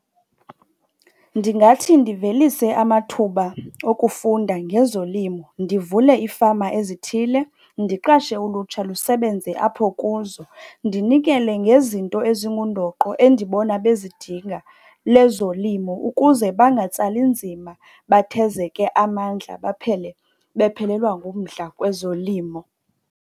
Ndingathi ndivelise amathuba okufunda ngezolimo, ndivule iifama ezithile ndiqashe ulutsha lusebenze apho kuzo. Ndinikele ngezinto ezingundoqo endibona bezindinga lezolimo ukuze bangatsali nzima bathezeke amandla baphele bephelelwa ngumdla kwezolimo.